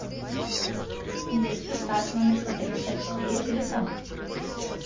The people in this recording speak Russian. детский сад номер сто пятьдесят четыре телефон